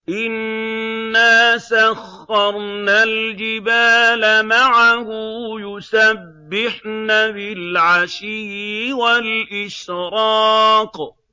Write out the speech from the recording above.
إِنَّا سَخَّرْنَا الْجِبَالَ مَعَهُ يُسَبِّحْنَ بِالْعَشِيِّ وَالْإِشْرَاقِ